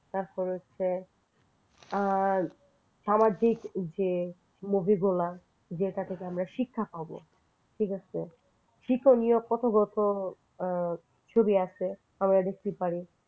তারপরে হচ্ছে সামাজিক যে movie গুলা যেটা থেকে আমরা শিক্ষা পাব ঠিক আছে শিক্ষনীয় কত কত ছবি আছে আমরা দেখতে পারি